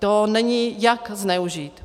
To není jak zneužít.